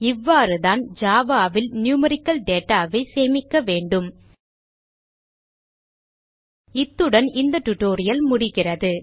இவ்வாறு தான் java ல் நியூமெரிக்கல் data ஐ சேமிக்க வேண்டும் இத்துடன் இந்த டியூட்டோரியல் முடிகிறது